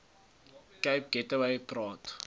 cape gateway praat